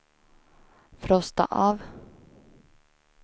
frosta av